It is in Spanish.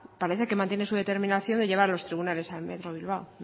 parece que mantiene su determinación de llevar a los tribunales a metro bilbao